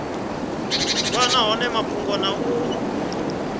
wana hone mafhungo na u